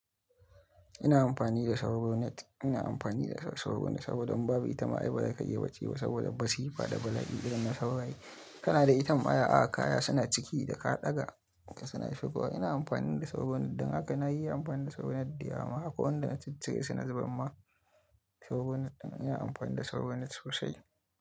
Ina amfani da Sauro Net. Ina amfani da Sauro Net saboda in babu ita ma ai ba za ka iya bacci ba saboda masifa da bala'i irin na sauraye. Kana da itamma ya, aka kaya suna ciki da ka ɗaga suna shigowa. Ina amfani da Sauro Net don haka na yi amfani da Sauro Net da yawa ma. Wanda na ciccire suna zubar ma Saugo Net ɗin. Ina amfani da Sauro Net sosai.